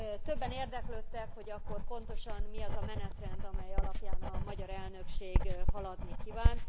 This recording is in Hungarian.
Többen érdeklődtek, hogy akkor pontosan mi az a menetrend, amely alapján a magyar elnökség haladni kíván.